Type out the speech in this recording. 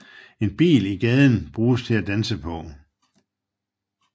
En bil i gaden brugtes til at danse på